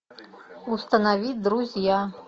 установи друзья